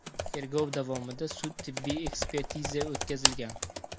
Tergov davomida sud-tibbiy ekspertiza o‘tkazilgan.